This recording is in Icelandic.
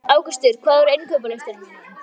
Ásgautur, hvað er á innkaupalistanum mínum?